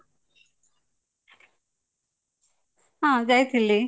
ହଁ ଯାଇଥିଲି